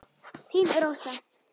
Þín Rósa.